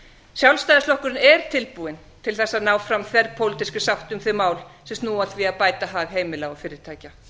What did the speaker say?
sjálfstæðisflokkurinn er tilbúinn til að ná fram þverpólitískri sátt um þau mál sem snúa að því að bæta hag heimila og fyrirtækja